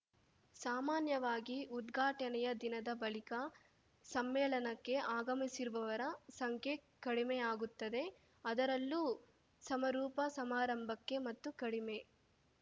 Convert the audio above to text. ಸಾಮಾನ್ಯವಾಗಿ ಉದ್ಘಾಟನೆಯ ದಿನದ ಬಳಿಕ ಸಮ್ಮೇಳನಕ್ಕೆ ಆಗಮಿಸಿರುವವರ ಸಂಖ್ಯೆ ಕಡಿಮೆಯಾಗುತ್ತದೆ ಅದರಲ್ಲೂ ಸಮರೂಪ ಸಮಾರಂಭಕ್ಕೆ ಮತ್ತೂ ಕಡಿಮೆ